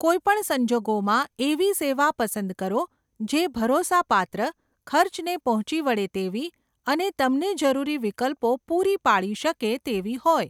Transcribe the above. કોઈ પણ સંજોગોમાં, એવી સેવા પસંદ કરો જે ભરોસાપાત્ર, ખર્ચને પહોંચી વળે તેવી અને તમને જરૂરી વિકલ્પો પૂરી પાડી શકે તેવી હોય.